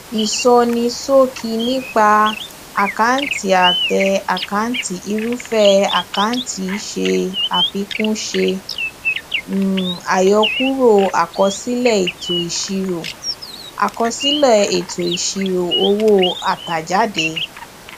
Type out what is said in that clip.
isonisoki nipa akanti ate akanti irúfẹ àkáǹtì se àfikún ṣe um àyọkúrò akosile eto isiro akosile eto isiro owo atajade